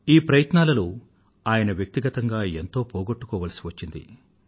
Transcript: ఈ ప్రయత్నాలలో ఆయన వ్యక్తిగతంగా ఎంతో పొగొట్టుకోవలసి వచ్చింది